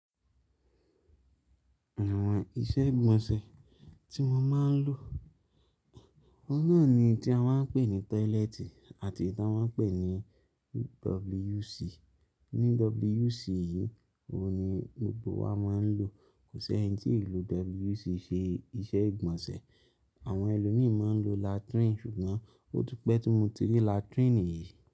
Àwọn iṣẹ́ ìgbọ̀nsẹ̀ tí mo máa ń lò náà ni tí a máa ń pè ní tọ́lẹ́tì àti ì ta máa ń pè ní WC. Ni WC yìí, òun ni gbogbo wa máa ń lò. Kò sẹ́ni tí ì lo WC ṣe iṣẹ́ ìgbọ̀nsẹ̀. Àwọn ẹlòmíì máa ń lo latrín ṣùgbọ́n ó ti pẹ́ tí mo ti rí latrín yìí.